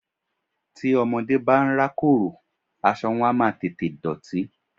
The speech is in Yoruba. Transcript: Tí ọmọdé bá ń rákòrò, aṣọ wọn á máa tètè dọ̀tí.